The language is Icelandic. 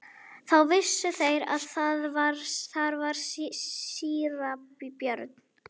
Þá vissu þeir að þar var síra Björn.